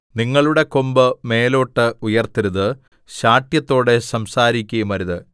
നിങ്ങളുടെ കൊമ്പ് മേലോട്ട് ഉയർത്തരുത് ശാഠ്യത്തോടെ സംസാരിക്കുകയുമരുത്